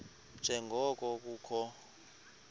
nje ngoko kukho